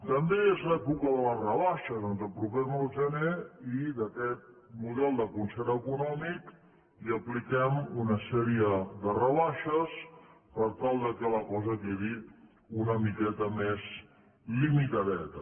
també és l’època de les rebaixes ens apropem al gener i a aquest model de concert econòmic hi apliquem una sèrie de rebaixes per tal que la cosa quedi una miqueta més limitadeta